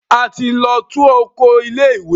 A ti lọ tú oko ilé ìwé.